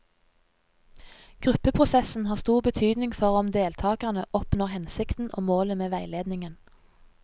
Gruppeprosessen har stor betydning for om deltakerne oppnår hensikten og målet med veiledningen.